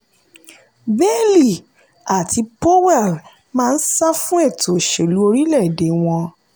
bailey àti powell máa ń sá fún ètò òṣèlú orílẹ̀-èdè wọn.